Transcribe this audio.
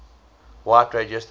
white radio stations